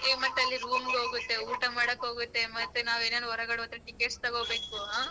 A ಮತ್ತೆ ಅಲ್ಲಿ room ಗ್ ಹೋಗುತ್ತೆ ಊಟ ಮಾಡಕ್ ಹೋಗುತ್ತೆ ಮತ್ ನಾವ್ ಏನಾನಾ ಹೊರಗಡೆ ಹೋದ್ರೆ tickets ತಗೋಬೇಕು ಆ.